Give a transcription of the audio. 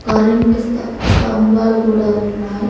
Current స్తంభాలు కూడా ఉన్నాయి.